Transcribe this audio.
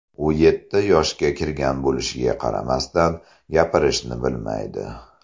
U yetti yoshga kirgan bo‘lishiga qaramasdan, gapirishni bilmaydi.